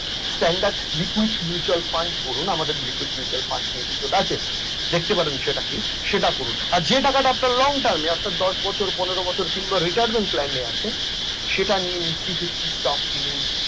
standard liquid mutual fund করুন আমাদের liquid fund নিয়ে episode আছে। দেখতে পারেন সেটা কি সেটা যে টাকাটা আপনার long term বাদশ বছর পনেরো বছর কিংবা retirement plan আছেন সেটা নিয়ে stok কিনুন